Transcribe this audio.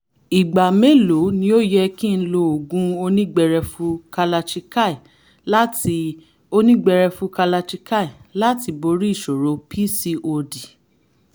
ìgbà mélòó ni ó yẹ kí n lo oògùn onígbẹrẹfu kalachikai láti onígbẹrẹfu kalachikai láti borí ìṣòro pcod?